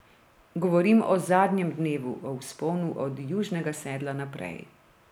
Govorim o zadnjem dnevu, o vzponu od Južnega sedla naprej.